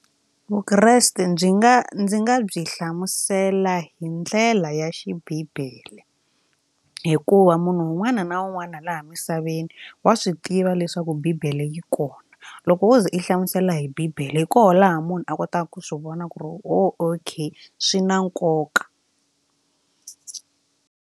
Vukreste byi nga ndzi nga byi hlamusela hi ndlela ya xibibele hikuva munhu un'wana na un'wana laha misaveni wa swi tiva yiva leswaku Bibele yi kona loko wo ze i hlamusela hi Bibele hi kona laha munhu a kotaka ku swi vona ku ri okay swi na nkoka.